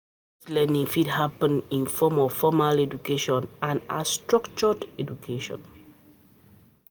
Adult learning fit happen in form of formal education and as structured education